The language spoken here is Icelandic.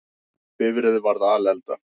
Bifreið varð alelda